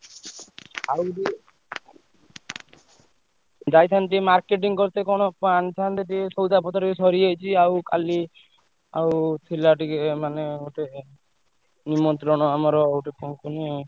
ଆଉ ଯୋଉ ଯାଇଥାନ୍ତି ଟିକେ marketing କରିତେ କଣ କଣ ଆଣିଥାନ୍ତେ ଟିକେ ସଉଦା ପତ୍ର ବି ସରିଯାଇଛି। ଆଉ କାଲି ଆଉ ଥିଲା ଟିକେ ମାନେ ଗୋଟେ ନିମନ୍ତ୍ରଣ ଆମର ହଉଛି କଣ କୁହନି।